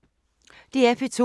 DR P2